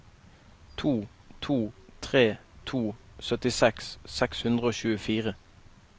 to to tre to syttiseks seks hundre og tjuefire